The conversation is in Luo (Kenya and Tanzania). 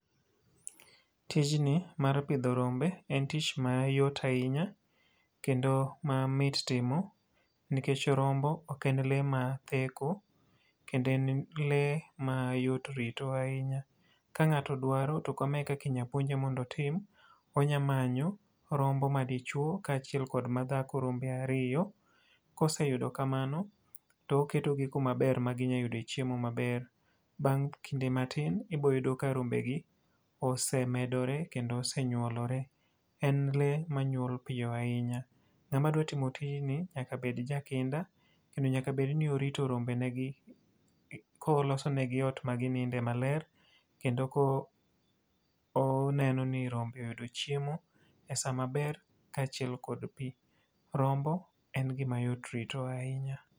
Tijni mar pidho rombe en tich mayot ahinya, kendo mamit timo. Nikech rombo ok en lee matheko, kendo en lee ma yot rito ahinya. Ka ngáto dwaro to kama e kaka inyalo puonje mondo otim. Onya manyo, rombo madichwo, kaachiel kod madhako, rombe ariyo. Koseyudo kamano, to oketo gi kumaber ma ginyalo yude chiemo maber. Bang' kinde matin to ibiro yudo ka rombe gi osemedore kendo osenyuolore. En lee manyuol piyo ahinya. Ngáma dwaro timo tijni nyaka bed jakinda ahinya, kendo nyaka bed ni orito rombe ge gi, ka olosonegi ot magininde maber. Kendo ka oneno ni rombe oyudo chiemo e sa maber, kaachiel kod pi. Rombo en gima yot rito ahinya.